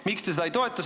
Miks te seda ei toeta?